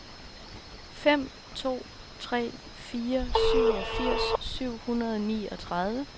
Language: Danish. fem to tre fire syvogfirs syv hundrede og niogtredive